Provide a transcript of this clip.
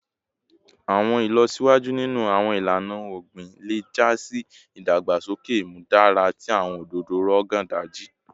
Awọn ilọsiwaju ninu awọn ilana ogbin le ja si idagbasoke imudara ti awọn ododo Rogon Daji